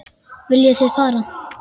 Viljið þið far?